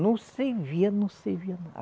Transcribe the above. Não servia, não servia.